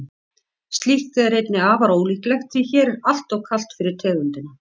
slíkt er einnig afar ólíklegt því hér er alltof kalt fyrir tegundina